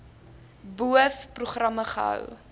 boov programme gehou